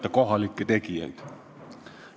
Toeta kohalikke tegijaid!